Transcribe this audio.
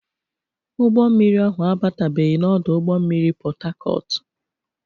Ụgbọ mmiri ahụ abatabeghi na ọdụ ụgbọ mmiri Pọtakọọtụ.